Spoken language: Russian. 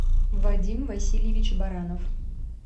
вадим васильевич баранов